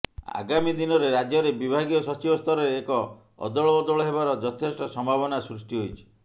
ଆଗାମୀ ଦିନରେ ରାଜ୍ୟରେ ବିଭାଗୀୟ ସଚିବ ସ୍ତରରେ ଏକ ଅଦଳବଦଳ ହେବାର ଯଥେଷ୍ଟ ସମ୍ଭାବନା ସୃଷ୍ଟି ହୋଇଛି